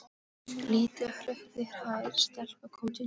Lítil hrokkinhærð stelpa kom til dyra.